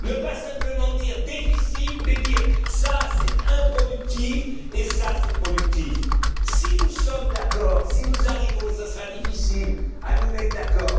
ne pas simplement dire déficit, mais dire ça, c'est improductif et ça, c'est productif. Si nous sommes d'accord, si nous parvenons, mais ce sera difficile, à nous mettre d'accord,